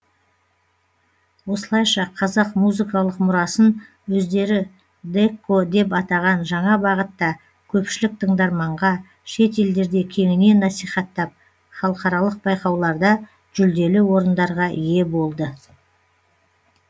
осылайша қазақ музыкалық мұрасын өздері дэкко деп атаған жаңа бағытта көпшілік тыңдарманға шет елдерде кеңінен насихаттап халықаралық байқауларда жүлделі орындарға ие болды